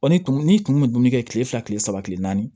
Ɔ ni kun bɛ dumuni kɛ kile fila kile saba kile naani